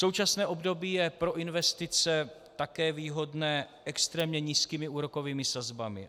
Současné období je pro investice také výhodné extrémně nízkými úrokovými sazbami.